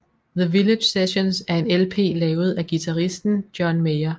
The Village Sessions er en LP lavet af guitaristen John Mayer